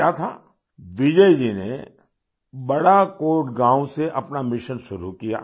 फिर क्या था बिजय जी ने बड़ाकोट गांव से अपना मिशन शुरू किया